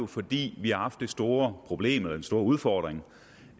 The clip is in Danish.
fordi vi har haft det store problem eller den store udfordring